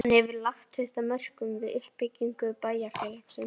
Hann hefur lagt sitt af mörkum við uppbyggingu bæjar- félagsins.